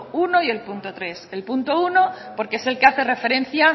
uno y el punto tres el punto uno porque es el que hace referencia